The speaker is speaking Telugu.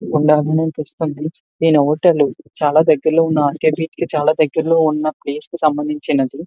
చాలా దగ్గరలో ఉన్నప్లేస్ కి సంబందించినది.